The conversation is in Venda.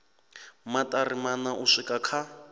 maṱari maṋa u swika kha